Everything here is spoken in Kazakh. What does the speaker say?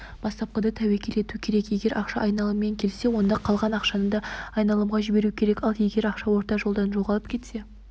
бастапқыда тәуекел ету керек егер ақша айналыммен келсе онда қалған ақшаны да айналымға жіберу керек ал егер ақша орта жолдан жоғалып кетсе